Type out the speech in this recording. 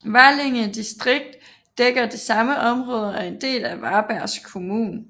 Valinge distrikt dækker det samme område og er en del af Varbergs kommun